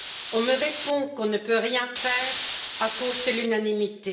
On me répond qu'on ne peut rien faire à cause de l'unanimité.